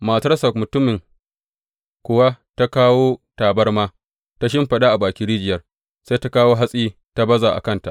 Matarsa mutumin kuwa ta kawo tabarma ta shimfiɗa a bakin rijiyar, sai ta kawo hatsi ta baza a kanta.